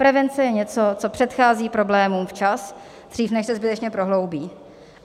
Prevence je něco, co předchází problémům včas, dřív, než se skutečně prohloubí.